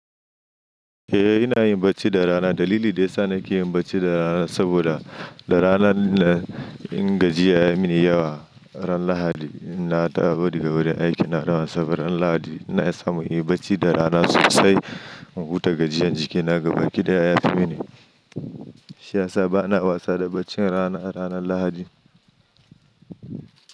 Eh ina yin bacci da rana. Dalili dai sa na ke yin bacci da rana saboda da rana na ingajiya ya mini yawa. Ran Lahadi in nadawo wuri daga wurin aiki na dawan saboda ran Lahadi na iya samu yin bacci da rana sosai in huta gajiyan jiki na ga baki da ya yafi mini. Shiyasa bana wasa da bacci rana ranar Lahadi.